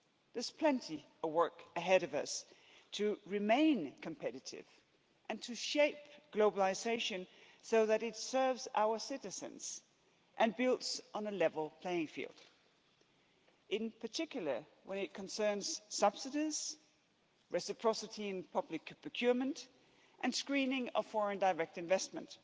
There's plenty of work ahead of us to remain competitive and to shape globalisation so that it serves our citizens and builds on a level playing field, in particular when it concerns subsidies, reciprocity in public procurement and screening of foreign direct investment.